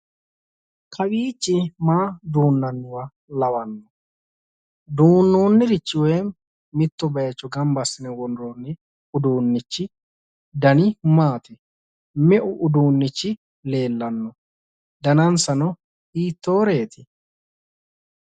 Kawwiichi maa duunnanniwa lawanno? Duunnionnirichi woyi mitto bayicho gamba assine worroonni uduunnichi dani maati? Me'u uduunnichi leellanno? danansano hiittooreeti?